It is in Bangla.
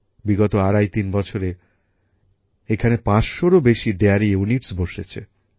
বিগত আড়াই তিন বছরে এখানে ৫০০এরও বেশি ডেয়ারী ইউনিটস বসেছে